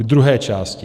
K druhé části.